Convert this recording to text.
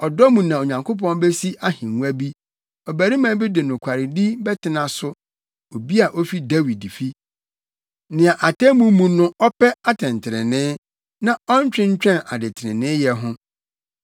Ɔdɔ mu na Onyankopɔn besi ahengua bi; ɔbarima bi de nokwaredi bɛtena so, obi a ofi Dawid fi, nea atemmu mu no ɔpɛ atɛntrenee na ɔntwentwɛn adetreneeyɛ ho.